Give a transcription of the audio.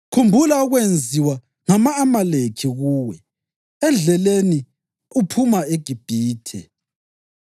Khumbula okwenziwa ngama-Amaleki kuwe endleleni uphuma eGibhithe.